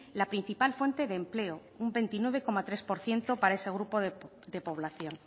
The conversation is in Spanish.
la principal fuente de empleo un veintinueve coma tres por ciento para ese grupo de población